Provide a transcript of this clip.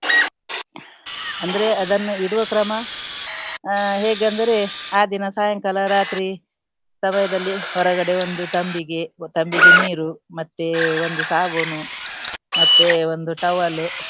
ಅಂದ್ರೆ ಅದನ್ನು ಇಡುವ ಕ್ರಮ ಆ ಹೇಗೆಂದರೆ ಆ ದಿನ ಸಾಯಂಕಾಲ ರಾತ್ರಿ ಸಮಯದಲ್ಲಿ ಹೊರಗಡೆ ಒಂದು ತಂಬಿಗೆ ಒ~ ತಂಬಿಗೆ ನೀರು ಮತ್ತೆ ಒಂದು ಸಾಬೂನು ಮತ್ತೆ ಒಂದು towel .